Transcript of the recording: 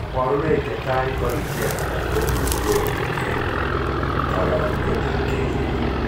Kabarunoik chetai ko richet anan ko uinwek en kalong'unet ab kelyek